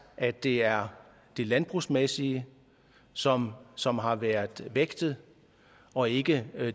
at det er det landbrugsmæssige som som har været vægtet og ikke